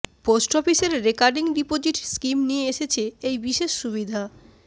post অফিসের recurring deposit scheme নিয়ে এসেছে এই বিশেষ সুবিধা